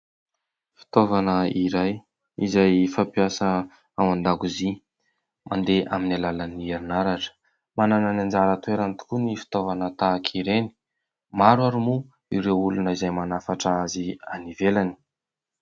Fitaovana iray izay fampiasa ao an-dakozia, mandeha amin'ny alalan'ny herinaratra, manana ny anjara toerany tokoa ny fitaovana tahaka ireny, maro ary moa ireo olona izay manafatra azy any ivelany.